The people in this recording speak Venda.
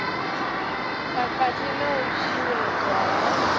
khakhathi na u tshinyadzwa ha